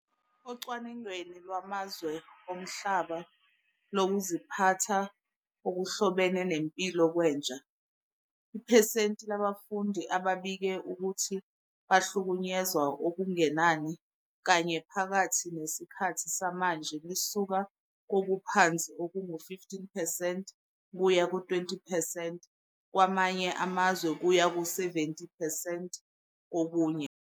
Ocwaningweni lwamazwe omhlaba lokuziphatha okuhlobene nempilo kwentsha, iphesenti labafundi ababike ukuthi bahlukunyezwa okungenani kanye phakathi nesikhathi samanje lisuka kokuphansi okungu-15 percent kuya ku-20 percent kwamanye amazwe kuya kuma-70 percent kokunye.